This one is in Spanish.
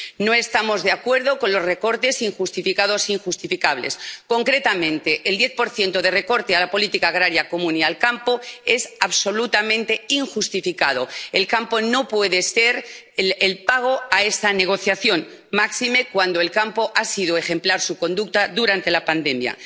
No estamos de acuerdo con los recortes injustificados e injustificables. Concretamente, el 10 de recorte en la política agrícola común y el campo es absolutamente injustificado. El campo no puede ser el pago a esta negociación, máxime cuando el campo ha sido ejemplar en su conducta durante la pandemia.